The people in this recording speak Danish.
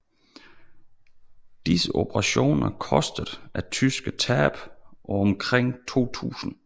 Disse operationer kostede tyskerne tab på omkring 2000